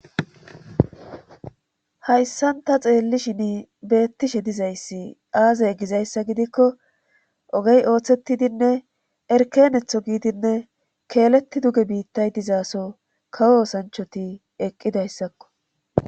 Hayssan ta xeellishini beettishe dizayssa aaze gizayssa gidikko ogey oothettidinne erkkeenetho giidinne keeletti duge biittay dizassoo kawo oosanchati eqqidayssakko